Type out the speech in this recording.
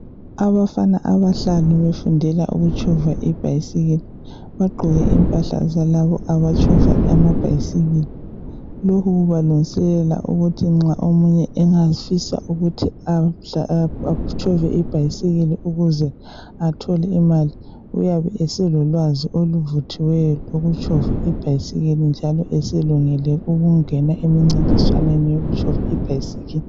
Abantu abahlanu befundela ukutshova ibhayisikili bagqoke impahla zalabo abatshova amabhayisikili , lokhu kubalungiselela ukuthi nxa omunye engafisa ukuthi atshove ibhayisikili ukuze athole imali uyabe eselolwazi oluvuthiweyo ukutshova ibhayisikili njalo eselungele ukungena emcintiswaneni yokutshova ibhayisikili